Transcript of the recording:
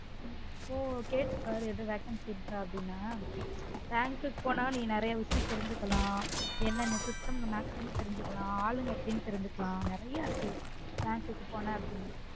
ஒ கேட்டு பாரு ஏதும் vacancy இருக்க அப்டின bank க்கு போன நெறய விசயம் தெரிஞ்சுக்கலா என்ன என்ன system maximum தெரிஞ்சுக்கலான் ஆளுங்க எப்டினு தெரிஞ்சுக்கலான் நெறய இருக்குது bank க்கு போன அப்டினா